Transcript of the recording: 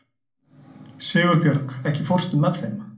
Sigurbjörg, ekki fórstu með þeim?